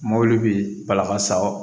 Mobili bɛ bala ka sa o